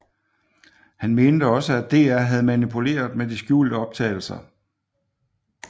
Han mente også at DR havde manipuleret med de skjulte optagelser